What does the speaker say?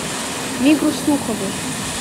мигру сухову